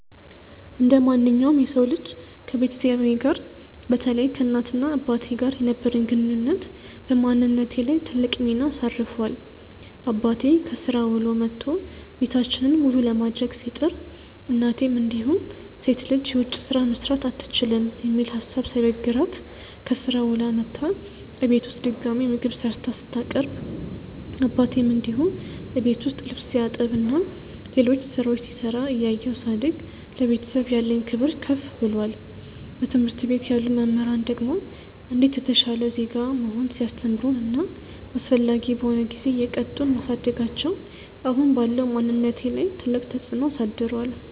እንደማንኛውም የሰው ልጅ ከቤተሰቤ ጋር በተለይ ከእናት እና አባቴ ጋር የነበረኝ ግንኙነት በማንነቴ ላይ ትልቅ ሚና አሳርፏል። አባቴ ከስራ ውሎ መቶ ቤታችንን መሉ ለማድረግ ሲጥር፤ እናቴም እንዲሁ ሴት ልጅ የውጭ ስራ መስራት አትችልም የሚል ሀሳብ ሳይበግራት ከስራ ውላ መታ እቤት ውስጥ ድጋሚ ምግብ ሰርታ ስታቀርብ አባቴም እንዲሁ እቤት ውስጥ ልብስ ሲያጥብ እና ሌሎች ስራዎች ሲሰራ እያየው ሳድግ ለቤተሰብ ያለኝ ክብር ከፍ ብሏል። በትምህርት ቤት ያሉ መምህራን ደግሞ እንዴት የተሻለ ዜጋ መሆን ሲያስተምሩን እና አስፈላጊ በሆነ ጊዜ እየቀጡን ማሳደጋቸው አሁን ባለው ማንነቴ ላይ ትልቅ ተፅዕኖ አሳድሯል።